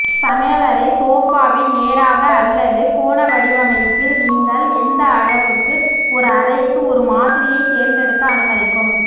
சமையலறை சோஃபாவின் நேராக அல்லது கோண வடிவமைப்பில் நீங்கள் எந்த அளவுக்கு ஒரு அறைக்கு ஒரு மாதிரியைத் தேர்ந்தெடுக்க அனுமதிக்கும்